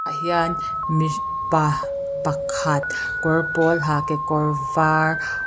hian mi pa pakhat kawr pawl ha kekawr var--